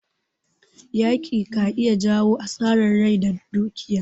Yaƙi ka iya jawo asarar rai da dukiya.